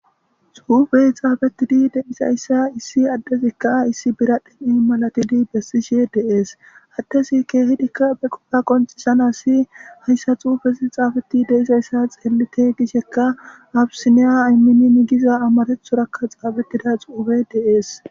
Xuufey xaafetidi de'zaysa Issi adezika issi biradheni malatidi besishe de'i, ha adezi kehidika be qopa qoncisanasi haysa xuufezi xafeti dizaysa xeelite gisheka absinya aminin giza amarathoraka xaafetida xuufeyi de'esi.